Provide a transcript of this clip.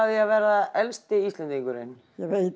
að verða elsti Íslendingurinn ég veit